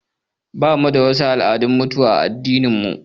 Bamu da wasu al'adu na mutuwa a addinin mu